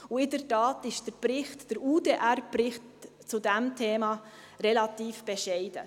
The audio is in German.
In der Tat ist der UDR-Bericht zu diesem Thema relativ bescheiden.